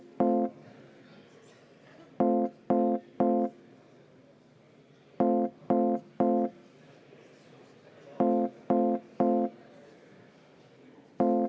Head kolleegid, me teeme seda järjekorras.